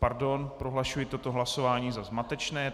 Pardon, prohlašuji toto hlasování za zmatečné.